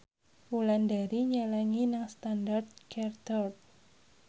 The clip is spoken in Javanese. Wulandari nyelengi nang Standard Chartered